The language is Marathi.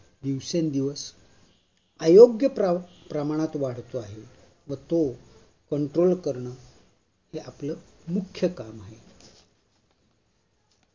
दिवसेंदिवस अयोग्य प्रा प्रमाणात वाढतो आहे व तो Control करण हे आपल मुख्य काम आहे.